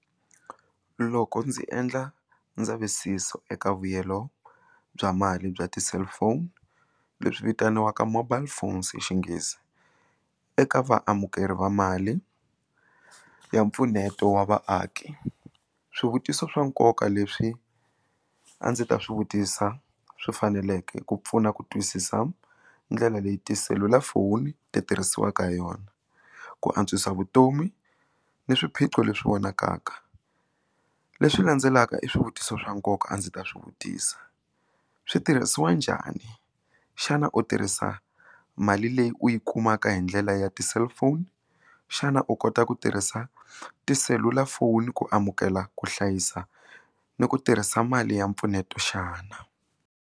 Loko ndzi endla ndzavisiso eka vuyelo bya mali bya ti cellphone leswi vitaniwaka mobile phones hi Xinghezi eka vaamukeri va mali ya mpfuneto wa vaaki swivutiso swa nkoka leswi a ndzi ta swi vutisa swi faneleke ku pfuna ku twisisa ndlela leyi tiselulafoni ti tirhisiwaka hi yona ku antswisa vutomi ni swiphiqo leswi vonakaka leswi landzelaka i swivutiso swa nkoka a ndzi ta swi vutisa swi tirhisiwa njhani xana u tirhisa mali leyi u yi kumaka hi ndlela ya ti cellphone xana u kota ku tirhisa tiselulafoni ku amukela ku hlayisa ni ku tirhisa mali ya mpfuneto xana.